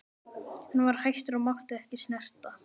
Hann var hættur og mátti ekki snerta.